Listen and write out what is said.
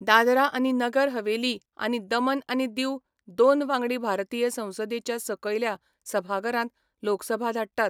दादरा आनी नगर हवेली आनी दमन आनी दीऊ दोन वांगडी भारतीय संसदेच्या सकयल्या सभाघरांत लोकसभा धाडटात.